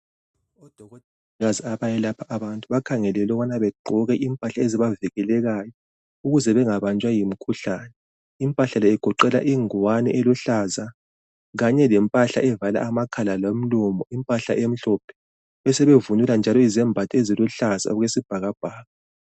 Odokotela abayelapha abantu bakhangelelwe ukuthi begqoke impahla ezibavikelekayo ukuze bengabanjwa yimikhuhlane . Impahla le igoqela ingwane eluhlaza kanye lempahla evala amakhala lomlomo , impahla emhlophe. Besebevunyelwa njalo izembatho eziluhlaza okwesibhakabhaka.